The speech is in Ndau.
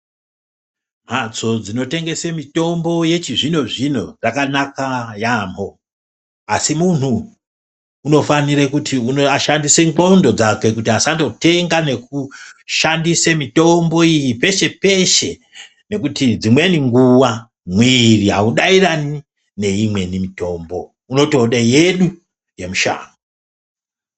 Mhatso dzinotengese mitombo yechizvino-zvino dzakanaka yaamho. Asi muntu unofanire kuti ashandise ndxondo dzake kuti asandotenga nekushandise mitombo iyi peshe-peshe. Nekuti dzimweni nguva mwiri haudairani neimweni mitombo unotode yedu yemushango.